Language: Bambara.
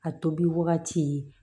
A tobi wagati